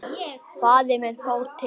Faðir minn fór til